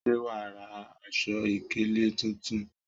Ṣé wàá ra aṣọ ìkélé tuntun?